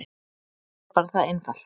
Það er bara það einfalt.